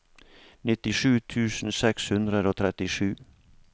nittisju tusen seks hundre og trettisju